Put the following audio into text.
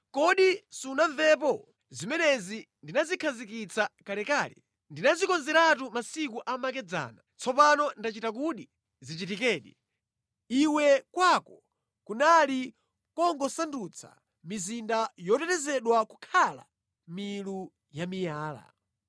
“ ‘Kodi sunamvepo? Zimenezi ndinazikhazikitsa kalekale. Ndinazikonzeratu masiku amakedzana; tsopano ndachita kuti zichitikedi, iwe kwako kunali kungosandutsa mizinda yotetezedwa kukhala milu ya miyala.